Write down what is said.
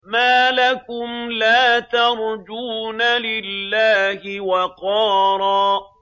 مَّا لَكُمْ لَا تَرْجُونَ لِلَّهِ وَقَارًا